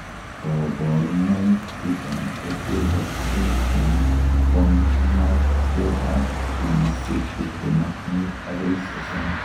Koborunoik chuton kotekokse en kong'aktetab kenyisiek tiptem ak mut akoi sosom.